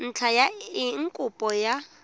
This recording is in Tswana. ntlha ya eng kopo ya